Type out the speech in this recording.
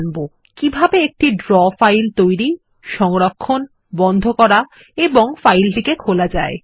আমরা শিখবো কিভাবে একটি ড্রো ফাইল তৈরি সংরক্ষণ বন্ধ করা এবং ফাইলটি খোলা যায়